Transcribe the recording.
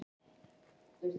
Íslands, þegar þau hittust.